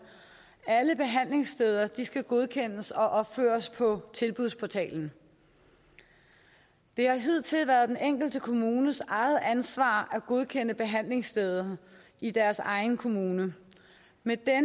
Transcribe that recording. alle behandlingssteder skal godkendes og opføres på tilbudsportalen det har hidtil været den enkelte kommunes eget ansvar at godkende behandlingsstederne i deres egen kommune men